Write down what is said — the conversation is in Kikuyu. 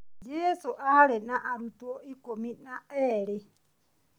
Jesũ aarĩ na arutwo ikũmi na erĩ